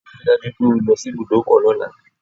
Rí i dájú wípé o lọ sí ibùdọ́kọ̀ lọ́la